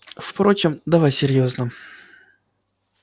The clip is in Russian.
впрочем давай серьёзно